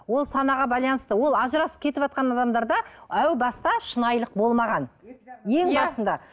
ол санаға байланысты ол ажырасып кетіватқан адамдарда әубаста шынайылық болмаған ең басында